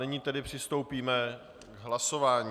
Nyní tedy přistoupíme k hlasování.